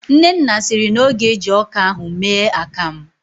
Nnenna siri na ọ ga-eji ọka ahụ mee akamụ